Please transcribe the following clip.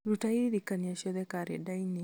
ruta iririkania ciothe karenda-inĩ